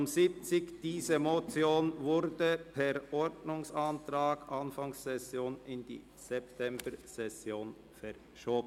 Die Motion unter Traktandum 70 wurde Anfang Session per Ordnungsantrag in die Septembersession verschoben.